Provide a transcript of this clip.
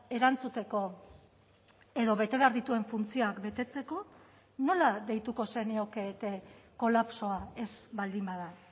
erantzuteko edo bete behar dituen funtzioak betetzeko nola deituko zeniokete kolapsoa ez baldin bada